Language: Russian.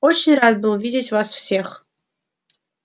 очень рад был видеть вас всех